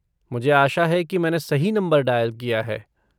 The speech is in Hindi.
मुझे आशा है कि मैंने सही नंबर डायल किया है।